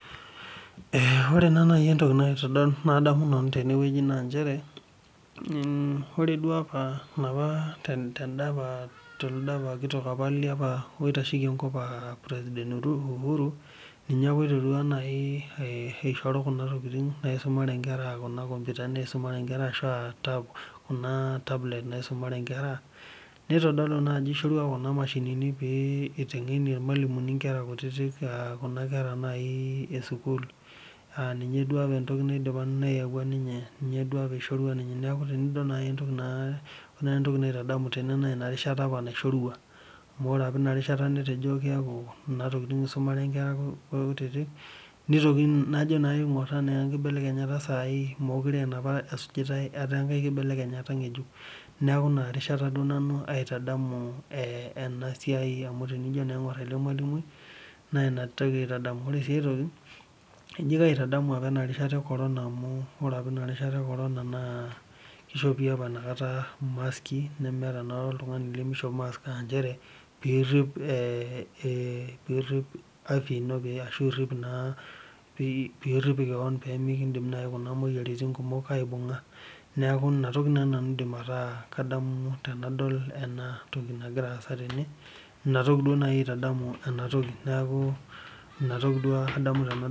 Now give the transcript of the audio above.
Ore naa najii entoki nadamu nanu naa njere ore duo apa telede kitok apa oitasheki enkop aa president uhuru ninye ala oiterua asihoru Kuna tokitin naisumare enkera kuna tablet naisumare enkera nitodolu naa jao eishorua Kuna mashinini pee eiteng'eni irmalimuni Kuna kera kutiti e sukuul aa ninye apa entoki nayawua ninye duo apa eishorua ninye neeku ore entoki naitadamu naa enarishata apa naishorua amu ore apa enakata enarishata netejo kunatokitin eisumare Nkera kutiti najo naa ingor ena enkinelekenyata sahi mekure ana ena esujitae etaa enkae ng'ejuk neeku enarishata nanu aitadamu enasiai amu tenijo aing'or ele malimuni ore sii aitoki ekaitadamu enkata ekorona amu ore apa ena rishata ekorona naa kishopi mask meeta oltung'ani limishop mask naa njere pidip afya eno nirip sii keon pee nikidim naaji Kuna moyiaritin kumok aibung'a neeku enatoki naaji nanu aidim ataa kadamu tenadol ena toki nagira asaa tene enatoki naaji aitadamu ena toki